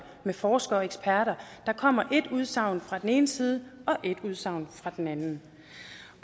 med forskere og eksperter der kommer ét udsagn fra den ene side og ét udsagn fra den anden